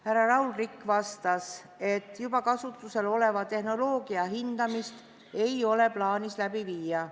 Härra Raul Rikk vastas, et juba kasutusel oleva tehnoloogia hindamist ei ole plaanis läbi viia.